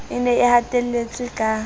e ne e hatelletswe ka